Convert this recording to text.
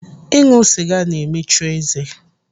Ịṅụ sịga na-emechu eze.